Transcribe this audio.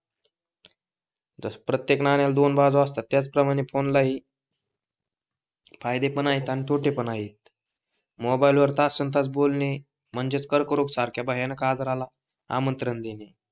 प्रत्येक नाण्याला दोन बाजू असतात त्याच प्रमाणे फोन ला हि फायदे पण आहेत आणि तोटे पण आहेत. मोबाइल वर तासंतास बोलणे म्हणजे कर्करोग सारख्या भयानक आजाराला आमंत्रण देणे.